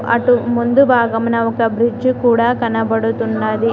అటు ముందు భాగమున ఒక బ్రిడ్జ్ కూడా కనబడుతున్నది.